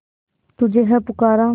तुझे है पुकारा